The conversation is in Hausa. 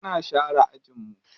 Muna share ajin mu.